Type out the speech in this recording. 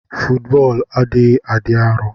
Fọọtbọlụ adighi adi arọ.